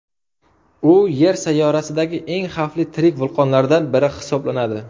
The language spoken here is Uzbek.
U Yer sayyorasidagi eng xavfli tirik vulqonlardan biri hisoblanadi.